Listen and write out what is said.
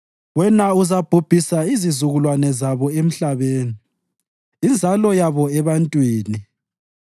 Wena uzabhubhisa izizukulwane zabo emhlabeni, inzalo yabo ebantwini.